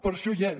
per això hi és